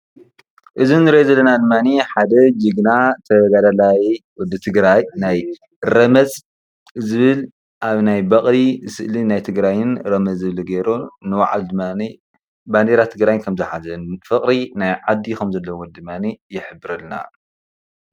እዚ ንሪኦ ዘለና ድማ ሓደ ጅግና ተጋዳላይ ወደ ትግራይ ናይ ረመፅ ዝብል ኣብ ናይ በቕሊ ስእሊን ናይ ትግራይን ረመፅ ዝብል ገይሩ ንባዕሉ ድማ ባንዴራ ትግራይ ከምዝሓዘን ፍቕሪ ናይ ዓዱ ከምዘለዎን ድማ ይሕብረልና፡፡